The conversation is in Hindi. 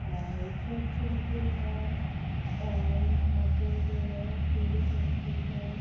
और चेक प्रिंटेड है और यहां पर जो है थ्री डी प्रिंटेड है।